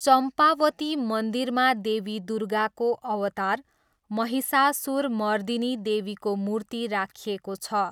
चम्पावती मन्दिरमा देवी दुर्गाको अवतार महिषासुरमर्दिनी देवीको मूर्ति राखिएको छ।